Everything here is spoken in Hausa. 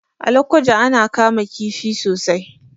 A Lokoja ana kama kifi sosai.